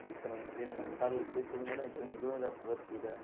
જેના કારણે સારું એવું ઉત્પાદન મળે અને જમીનની ગુણવત્તા પણ વધતી રહે.